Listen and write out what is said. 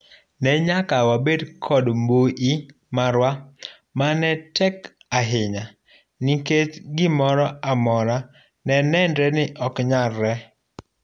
Ne nyaka wabed kod mbui marwa mane tek ahinya nikech gimoro amora ne nenre ni ok nyalre.